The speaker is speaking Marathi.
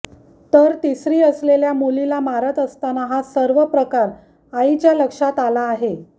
तर तिसरी असलेल्या मुलीला मारत असताना हा सर्व प्रकार आईच्या लक्षात आला आहे